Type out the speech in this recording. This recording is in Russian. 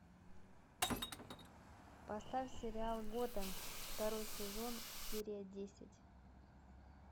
поставь сериал готэм второй сезон серия десять